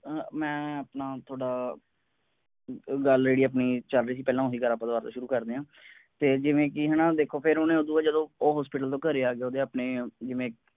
ਮੈਂ ਆਪਣਾ ਤੁਹਾਡਾ ਗੱਲ ਜਿਹੜੀ ਆਪਣੀ ਚਲ ਰਹੀ ਸੀ ਪਹਿਲਾਂ ਓਹੀ ਗੱਲ ਆਪਾਂ ਦੁਬਾਰਾ ਸ਼ੁਰੂ ਕਰਦੇ ਆਂ। ਤੇ ਜਿਵੇਂ ਕਿ ਹੈਨਾ ਦੇਖੋ ਫੇਰ ਓਹਨੇ ਬਾਅਦ ਉਹ ਉਹ hospital ਜਦੋਂ ਘਰੇ ਆ ਗਿਆ ਓਹਦੇ ਆਪਣੇ ਜਿਵੇਂ